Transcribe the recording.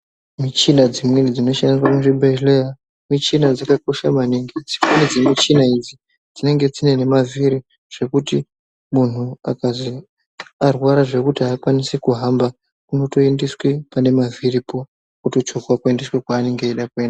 Muchina dzimweni dzinoshandiswa muzvibhehleya muchina dzakakosha maningi dzimweni dzemuchina idzi dzinenge dzine mavhiri zvekuti muntu arware zvekuti haakwanisi kuhamba unotoendeswe pane mavhiripo ochovhwa kuendeswa kwaanenge achida kuenda .